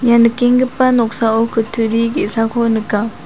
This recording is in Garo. ia nikenggipa noksao kutturi ge·sako nika.